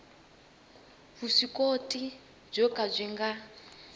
vuswikoti byo ka byi nga